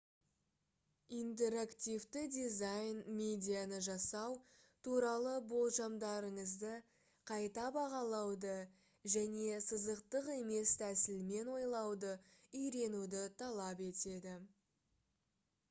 интерактивті дизайн медианы жасау туралы болжамдарыңызды қайта бағалауды және сызықтық емес тәсілмен ойлауды үйренуді талап етеді